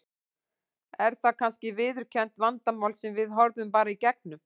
Er það kannski viðurkennt vandamál sem við horfum bara í gegnum?